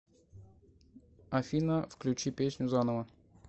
афина включи песню заново